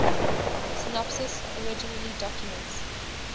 synopses originally documents